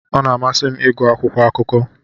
Ọ na-amasị m ịgụ akwụkwọ akụkọ.